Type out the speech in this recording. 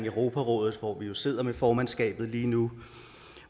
europarådet hvor vi jo sidder med formandskabet lige nu